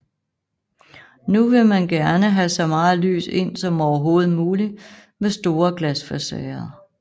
Nu vil man gerne have så meget lys ind som overhovedet mulig med store glasfacader